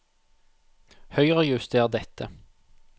Høyrejuster dette